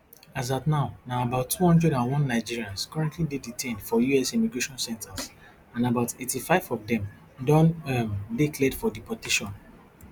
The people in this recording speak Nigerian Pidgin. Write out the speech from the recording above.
as at now na about two hundred and one nigerians currently dey detained for us immigration centres and about eighty-five of dem don um dey cleared for deportation